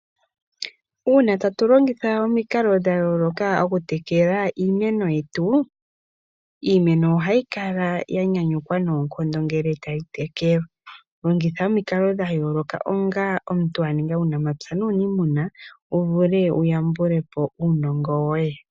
Uuna tatu longitha omikalo dha yooloka okutekela iimeno yetu iimeno ohayi kala yanyanyukwa noonkondo ngele tayi tekelwa. Longitha omikalo dha yooloka onga omuntu aninga uunamapya nuuniimuna wuvule wuyambulepo uunongo woye.